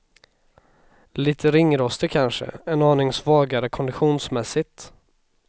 Lite ringrostig kanske, en aning svagare konditionsmässigt.